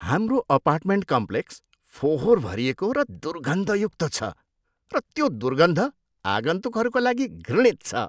हाम्रो अपार्टमेन्ट कम्प्लेक्सको फोहोर भरिएको र दुर्गन्धयुक्त छ र त्यो दुर्गन्ध आगन्तुकहरूका लागि घृणित छ।